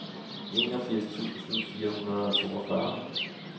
enogfirs tusind fire hundrede og toogfyrre